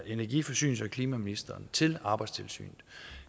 energi forsynings og klimaministeriet til arbejdstilsynet